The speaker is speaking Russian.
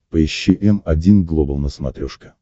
поищи м один глобал на смотрешке